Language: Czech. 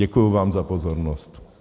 Děkuji vám za pozornost.